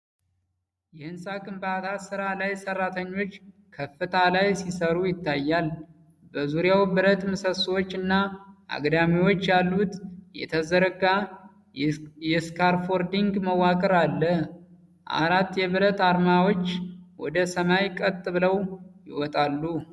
የሕንጻ ግንባታ ሥራ ላይ ሠራተኞች ከፍታ ላይ ሲሠሩ ይታያል። በዙሪያው ብረት ምሰሶዎች እና አግዳሚዎች ያሉት የዘረጋ የእስካፎልዲንግ መዋቅር አለ። አራት የብረት አርማታዎች ወደ ሰማይ ቀጥ ብለው ይወጣሉ።